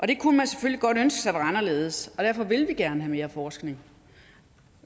det kunne man selvfølgelig godt ønske sig var anderledes og derfor vil vi gerne have mere forskning